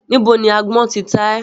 Níbo ni àgbọ̀n tí ta ẹ́?